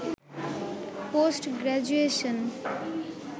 post graduation